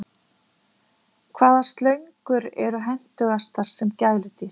Hvaða slöngur eru hentugastar sem gæludýr?